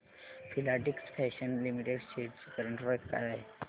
Filatex fashions limited shares ची current price काय आहे